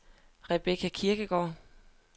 Rebecca Kirkegaard